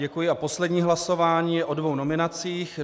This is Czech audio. Děkuji a poslední hlasování je o dvou nominacích.